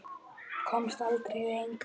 Komst aldrei lengra.